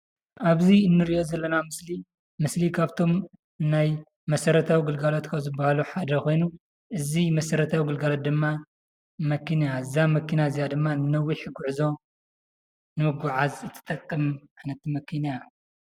አብዚ እንሪኦ ዘለና ምስሊ ምስሊ ካብቶም ናይ መሰረታዊ ግልጋሎት ካብ ዝበሀሉ ሓደ ኮይኑ እዚ መሰረታዊ ግልጋሎት ድማ መኪና። እዛ መኪና እዚአ ድማ ንነዊሕ ጉዕዞ ንምጉዓዝ ትጠቅም መኪና እያ፡፡